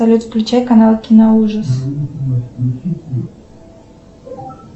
салют включай канал киноужас